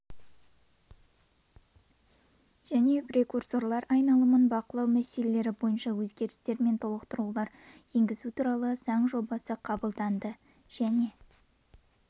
және прекурсорлар айналымын бақылау мәселелері бойынша өзгерістер мен толықтырулар енгізу туралы заң жобасы қабылданды және